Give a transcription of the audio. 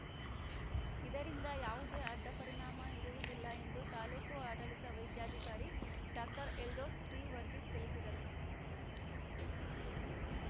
ಇದರಿಂದ ಯಾವುದೇ ಅಡ್ಡ ಪರಿಣಾಮ ಇರುವುದಿಲ್ಲ ಎಂದು ತಾಲೂಕು ಆಡಳಿತ ವೈದ್ಯಾಧಿಕಾರಿ ಡಾಕ್ಟರ್ ಎಲ್ದೋಸ್‌ ಟಿವರ್ಗೀಸ್‌ ತಿಳಿಸಿದರು